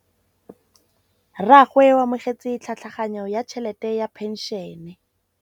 Rragwe o amogetse tlhatlhaganyô ya tšhelête ya phenšene.